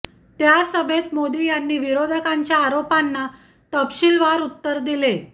त्या सभेत मोदी यांनी विरोधकांच्या आरोपांना तपशीलवार उत्तर दिले